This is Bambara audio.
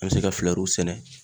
An bɛ se ka sɛnɛ